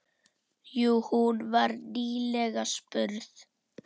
Jú, hún var nýlega spurð.